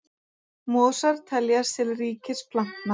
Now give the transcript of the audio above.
Mosar teljast til ríkis plantna.